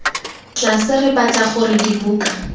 tlase re batla gore dibuka